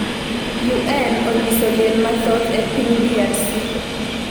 UN onyiso liel mathoth e piny DRC